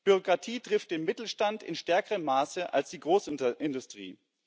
Bürokratie trifft den Mittelstand in stärkerem Maße als die Großindustrie.